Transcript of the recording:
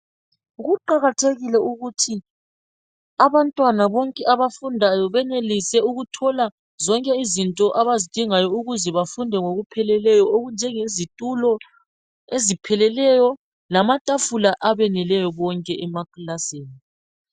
Kuqakathekile ukuthi abantwana bonke abafundayo benelise ukuthola zonke izinto abazidingayo ukuze bafunde ngokupheleleyo okunjengezitulo ezipheleleyo lamatafula abeneleyo bonke emakilasini